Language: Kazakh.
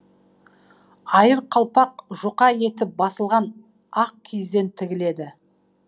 айыр қалпақ жұқа етіп басылған ақ киізден тігіледі